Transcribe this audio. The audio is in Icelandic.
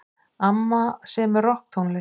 Amma semur rokktónlist.